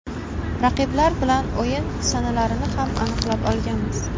Raqiblar bilan o‘yin sanalarini ham aniqlab olganmiz.